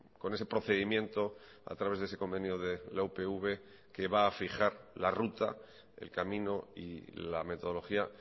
con ese procedimiento a través de ese convenio de la upv que va a fijar la ruta el camino y la metodología